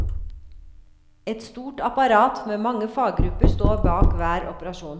Et stort apparat med mange faggrupper står bak hver operasjon.